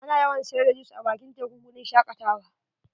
Ana yawan siyar da jus a bakin teku guri n shakatawa.